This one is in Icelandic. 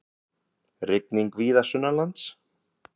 Rigning víða sunnanlands